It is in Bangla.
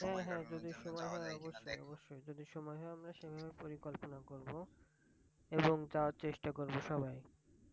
অব্যশই যদি সময় হয় আমরা সবাই মিলে পরিকল্পনা করব। এবং তা চেষ্টা করব সবাই